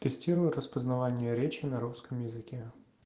тестирую распознавание речи на русском языке